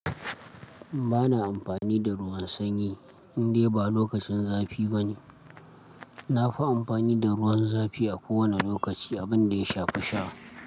Ba na amfani da ruwan sanyi, indai ba lokacin zafi bane. Na fi amfani da ruwan zafi a kowane lokaci, abin da ya shafi sha.